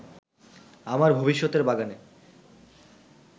আমার ভবিষ্যতের বাগানে